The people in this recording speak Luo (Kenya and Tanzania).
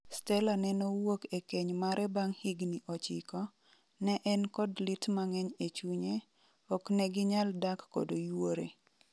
Stella nenowuok e keny mare bang' higni ochiko, ne en kod lit mang'eny e chunye, okneginyal dak kod yuore .